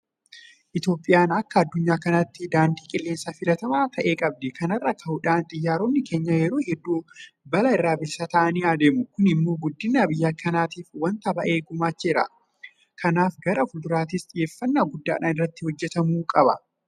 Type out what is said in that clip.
Itoophiyaan akka addunyaa kanaatti daandii qilleensaa filatamaa ta'e qabdi. Kana irraa ka'uudhaan xiyyaaronni keenya yeroo hedduu balaa irraa bilisa ta'anii adeemu. Kun immoo guddina biyya kanaatiif waanta baay'ee gumaacheera. Kanaaf gara fuulduraattis xiyyeeffannaa guddaadhaan irratti hojjetamuu qaba.